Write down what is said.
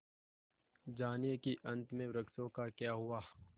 जानिए कि अंत में वृक्षों का क्या हुआ